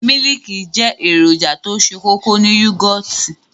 Mílìkì jẹ́ èròjà tó se kókó ní yógòtì.